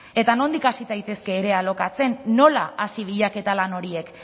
eta nondik hasi daitezke ere alokatzen nola hasi bilaketa lan horiek